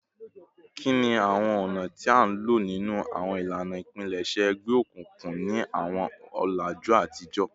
Kini awọn ọna ti a lo ninu awọn ilana ipilẹṣẹ egbeokunkun ni awọn ọlaju atijọ?